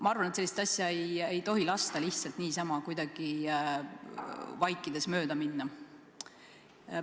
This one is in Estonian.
Ma arvan, et sellist asja ei tohi lasta lihtsalt niisama kuidagi vaikselt mööda minna.